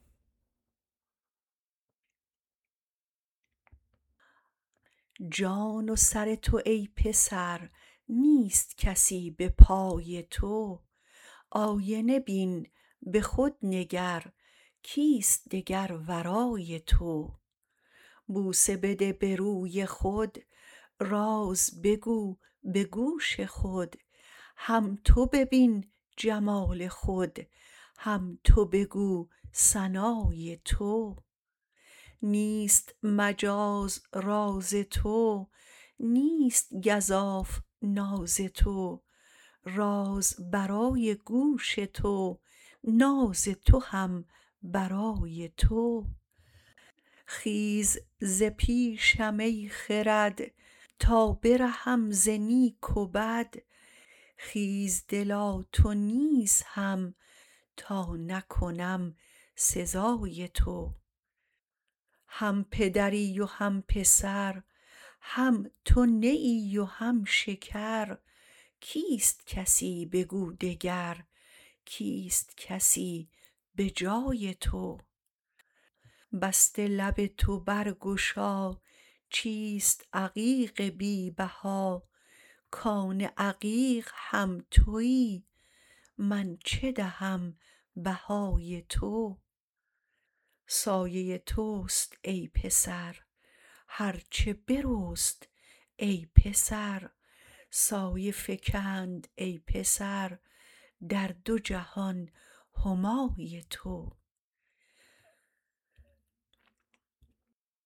جان و سر تو ای پسر نیست کسی به پای تو آینه بین به خود نگر کیست دگر ورای تو بوسه بده به روی خود راز بگو به گوش خود هم تو ببین جمال خود هم تو بگو ثنای تو نیست مجاز راز تو نیست گزاف ناز تو راز برای گوش تو ناز تو هم برای تو خیز ز پیشم ای خرد تا برهم ز نیک و بد خیز دلا تو نیز هم تا نکنم سزای تو هم پدری و هم پسر هم تو نیی و هم شکر کیست کسی بگو دگر کیست کسی به جای تو بسته لب تو برگشا چیست عقیق بی بها کان عقیق هم تویی من چه دهم بهای تو سایه توست ای پسر هر چه برست ای پسر سایه فکند ای پسر در دو جهان همای تو